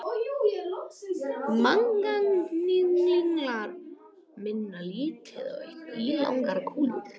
Manganhnyðlingar minna á lítið eitt ílangar kúlur.